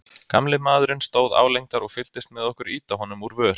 Gamli maðurinn stóð álengdar og fylgdist með okkur ýta honum úr vör.